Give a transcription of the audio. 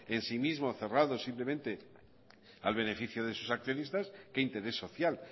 en si mismo cerrado simplemente al beneficio de sus accionistas que interés social